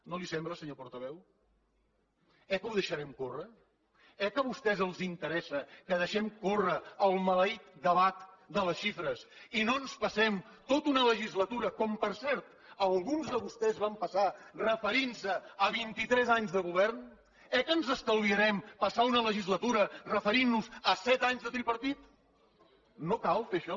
no li sembla senyor portaveu eh que ho deixarem córrer eh que a vostès els interessa que deixem córrer el maleït debat de les xifres i no ens passem tota una legislatura com per cert alguns de vostès van passar referint se a vint i tres anys de govern eh que ens estalviarem passar una legislatura referint nos a set anys de tripartit no cal fer això